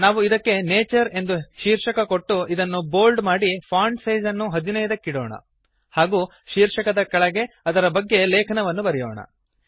ನಾವು ಇದಕ್ಕೆ ನ್ಯಾಚರ್ ಎಂದು ಶೀರ್ಷಕ ಕೊಟ್ಟು ಇದನ್ನು ಬೋಲ್ಡ್ ಮಾಡಿ ಫಾಂಟ್ ಸೈಜ್ ಅನ್ನು 15 ಕ್ಕಿಡೋಣ ಹಾಗೂ ಶೀರ್ಷಕದ ಕೆಳಗೆ ಅದರ ಬಗ್ಗೆ ಲೇಖನವನ್ನು ಬರೆಯೋಣ